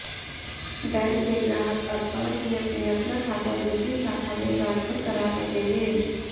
bank के ग्राहक अब पांच मिनट में अपना खाता दूसरी शाखा में ट्रांसफर करा सकेंगे